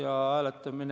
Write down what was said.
Austatud juhataja!